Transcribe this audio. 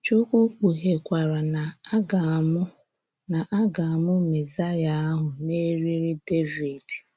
Chúkwú kpughekwara na a gà-amụ́ na a gà-amụ́ Mésáyà ahụ n’èrí̄rì̄ Dèvíd.